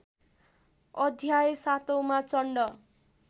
अध्याय सातौँमा चण्ड